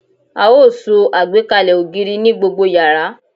A ó so àgbékalẹ̀ ògiri ní gbogbo yàrá